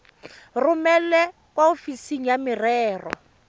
romele kwa ofising ya merero